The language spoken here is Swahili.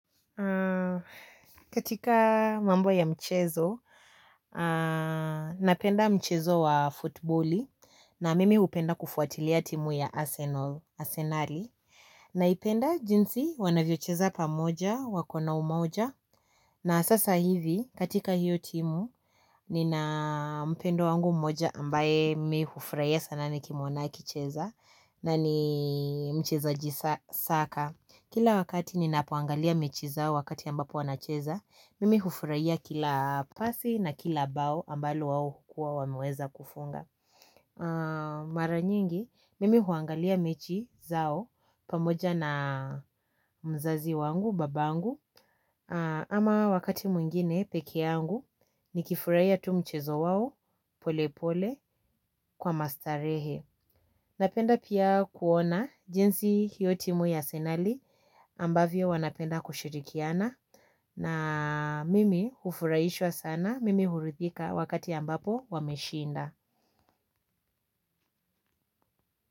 Katika mambo ya mchezo, napenda mchezo wa futboli na mimi hupenda kufuatilia timu ya Arsenal asenali naipenda jinsi wanavyocheza pamoja wakona umoja na sasa hivi katika hiyo timu nina mpendwa wangu mmoja ambaye mi hufurahia sana nikimwona akicheza na ni mchezaji sa saka. Kila wakati ninapoangalia mechi zao wakati ambapo wanacheza, mimi hufurahia kila pasi na kila bao ambalo wao hukuwa wameweza kufunga. Mara nyingi, mimi huangalia mechi zao pamoja na mzazi wangu, babangu, ama wakati mwingine peke yangu, nikifurahia tu mchezo wao pole pole kwa mastarehe. Napenda pia kuona jinsi hiyo timu ya asenali ambavyo wanapenda kushirikiana na mimi hufurahishwa sana mimi huridhika wakati ambapo wameshinda.